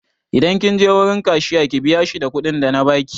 Idan kin je wurin Kashiya ki biya shi da kuɗin da na baki!